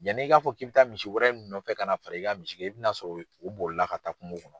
Yanni i k'a fɔ k'i bɛ taa misi wɛrɛ nɔfɛ ka na fara i ka misi i bɛ na sɔrɔ u bolila ka taa kungo kɔnɔ.